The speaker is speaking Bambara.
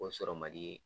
O sɔrɔ man di